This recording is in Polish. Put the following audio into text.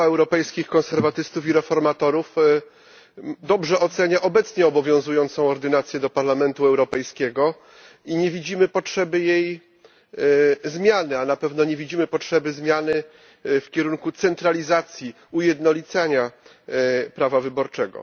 Grupa Europejskich Konserwatystów i Reformatorów dobrze ocenia obecnie obowiązującą ordynację do Parlamentu Europejskiego i nie widzimy potrzeby jej zmiany, a na pewno nie widzimy potrzeby zmiany w kierunku centralizacji, ujednolicania prawa wyborczego.